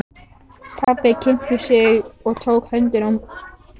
Pabbi kynnti sig og tók í höndina á manninum.